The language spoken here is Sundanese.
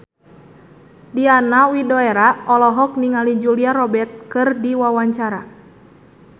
Diana Widoera olohok ningali Julia Robert keur diwawancara